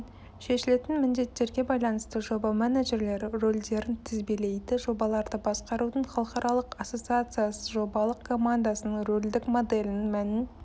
шешілетін міндеттерге байланысты жоба менеджерлері рөлдерін тізбелейді жобаларды басқарудың халықаралық ассоциациясы жобалық командасының рөлдік моделінің мәнін